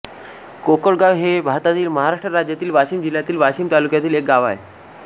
कोकळगाव हे भारतातील महाराष्ट्र राज्यातील वाशिम जिल्ह्यातील वाशीम तालुक्यातील एक गाव आहे